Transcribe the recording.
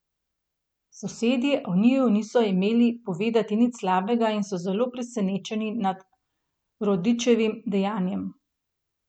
Sosedje o njiju niso imeli povedati nič slabega in so zelo presenečeni nad Rodićevim dejanjem.